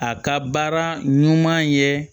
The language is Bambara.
A ka baara ɲuman ye